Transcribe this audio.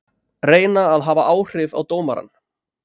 Reyna að hafa áhrif á dómarann